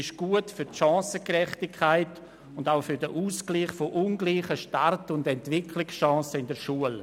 Das Angebot dient der Chancengerechtigkeit und dem Ausgleich von ungleichen Start- und Entwicklungschancen in der Schule.